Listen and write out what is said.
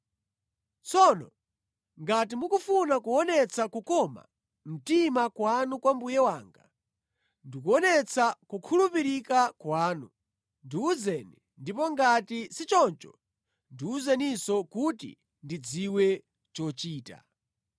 Tsono ngati mukufuna kuonetsa kukoma mtima kwanu kwa mbuye wanga, ndikuonetsa kukhulupirika kwanu, ndiwuzeni; ndipo ngati si choncho ndiwuzeninso kuti ndidziwe chochita.”